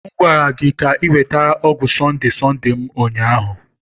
M gwara gị ka ị weta ọgwụ Sonde-Sonde m ụnyahụ!